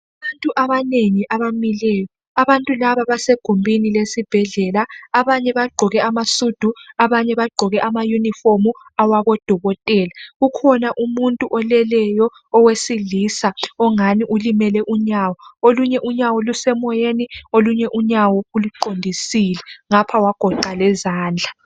Abantu abanengi abamileyo. Abantu laba basegumbini lesibhedlela. Abanye bagqoke amasudu abanye bagqoke amayunifomu awabodokotela. Kukhona umuntu oleleyo owesilisa ongani ulimele unyawo. Okunye unyawo lusemoyeni okunye unyawo uluqondisile ngapho wagoqa lezandla.